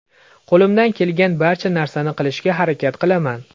Qo‘limdan kelgan barcha narsani qilishga harakat qilaman.